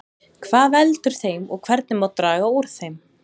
Hvað veldur þeim og hvernig má draga úr þeim?